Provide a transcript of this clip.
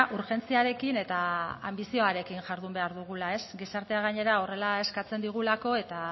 urgentziarekin eta anbizioarekin jardun behar dugula ez gizartea gainera horrela eskatzen digulako eta